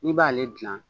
N'i b'ale gilan